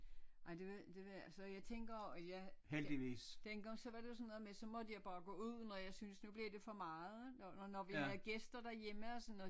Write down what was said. Nej det ved det ved så jeg tænker at jeg dengang så var det jo sådan noget jeg måtte bare gå ud når jeg synes nu bliver det for meget når når vi havde gæster derhjemme og sådan noget